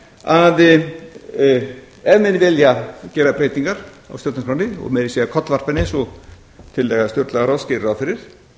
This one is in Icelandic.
að ef menn vilja gera breytingar á stjórnarskránni og meira að segja kollvarpa henni eins og tillaga stjórnlagaráðs gerir ráð fyrir